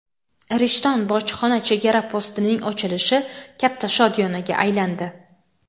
"Rishton" bojxona chegara postining ochilishi katta shodiyonaga aylandi.